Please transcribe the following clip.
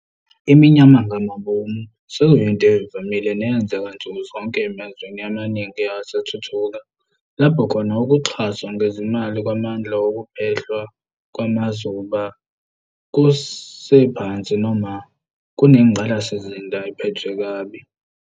Iminyamangabomu sekuyinto evamile neyenzeka nsuku zonke emazweni amaningi asathuthuka, lapho khona ukuxhaswa ngezimali kwamandla wokuphehlwa kwamazuba kusephansi noma kunengqalasizinda ephethwe kabi.